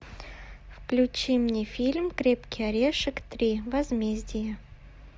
включи мне фильм крепкий орешек три возмездие